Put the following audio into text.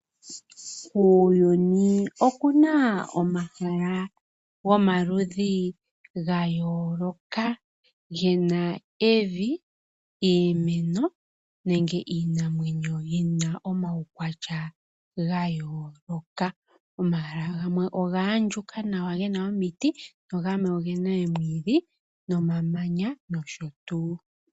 Kuuyuni okuna omahala gomaludhi ga yoolola gena evi, iimeno nenge iinamwenyo yina omawukwatya ga yooloka. Omahala gamwe oga handjuka nawa gena omiti na gamwe ogena oomwiidhi nomamanya nosho tu.